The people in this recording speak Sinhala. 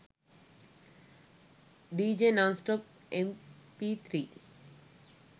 dj non stop mp3